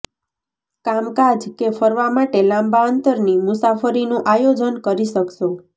કામકાજ કે ફરવા માટે લાંબા અંતરની મુસાફરીનું આયોજન કરી શકશો